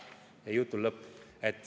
Ja jutul lõpp.